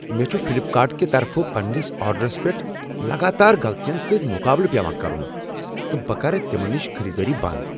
مےٚ چھُ فلیپکارٹ کہ طرفہٕ پننس آرڈرس پیٹھ لگاتار غلطین سۭتۍ مقابلہٕ پیوان کرُن تہٕ بہٕ کرٕ تمن نشہ خریدٲری بنٛد۔